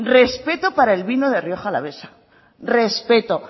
respeto para el vino de rioja alavesa respeto